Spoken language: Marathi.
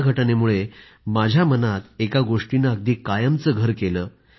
या घटनेमुळे माझ्या मनामध्ये एका गोष्टीने अगदी कायमचं घर केलं